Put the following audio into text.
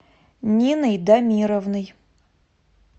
ниной дамировной